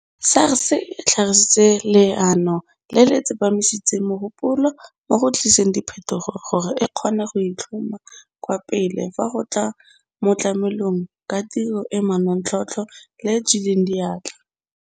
SARS e tlhagisitse leano le le tsepamisitseng mogopolo mo go tliseng diphetogo gore e kgone go itlhoma kwa pele fa go tla mo go tlameleng ka tiro e e manontlhotlho le e e tswileng diatla.